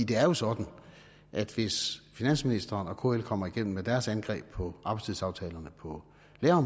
det er jo sådan at hvis finansministeren og kl kommer igennem med deres angreb på arbejdstidsaftalerne på